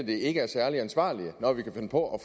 det ikke er særlig ansvarlige når vi kan finde på at